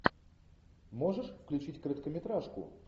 можешь включить короткометражку